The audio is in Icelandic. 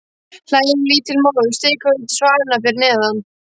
Hlægilega lítið mál að stikla niður á svalirnar fyrir neðan.